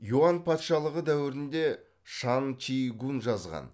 юань патшалығы дәуірінде шань чи гунь жазған